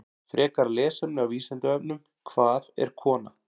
Frekara lesefni á Vísindavefnum: Hvað er kona?